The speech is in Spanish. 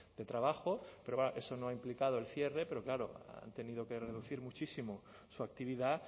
de trabajo pero eso no ha implicado el cierre pero claro han tenido que reducir muchísimo su actividad